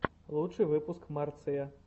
лучший выпуск марция